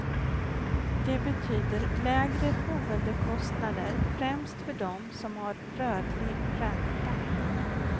Det betyder lägre boendekostnader främst för dem som har rörlig ränta.